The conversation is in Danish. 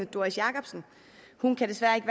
doris jakobsen hun kan desværre ikke